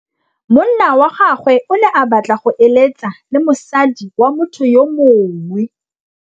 Monna wa gagwe o ne a batla go êlêtsa le mosadi wa motho yo mongwe.